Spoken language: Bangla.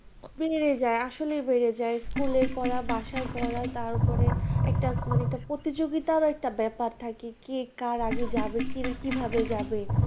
বেড়ে যায়, আসলে বেড়ে যায়। school এর পড়া, বাসার পড়া, তার ওপরে একটা মানে একটা প্রতিযোগিতার ব্যাপার থাকে। কে কার আগে যাবে, কে কিভাবে যাবে।